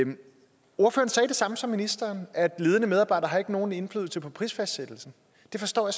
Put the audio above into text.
samme som ministeren at ledende medarbejdere ikke har nogen indflydelse på prisfastsættelsen det forstår